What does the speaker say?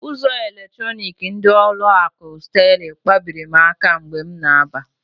Ụzọ eletronik ndị ụlọ akụ Sterling kpabiri m aka mgbe m na-aba.